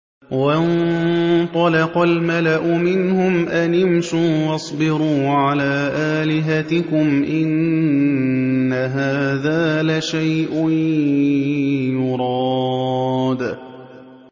وَانطَلَقَ الْمَلَأُ مِنْهُمْ أَنِ امْشُوا وَاصْبِرُوا عَلَىٰ آلِهَتِكُمْ ۖ إِنَّ هَٰذَا لَشَيْءٌ يُرَادُ